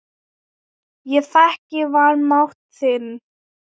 Ég þekki vanmátt þinn.